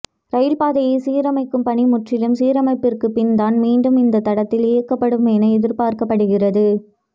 ரயில் பாதையை சீரமைக்கும் பணி முற்றிலும் சீரமைப்பிற்கு பின் தான் மீண்டும் இந்த தடத்தில் இயக்கப்படும் என எதிா்ப்பாக்கப்படுகிறது